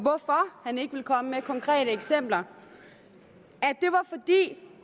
han ikke vil komme med konkrete eksempler at det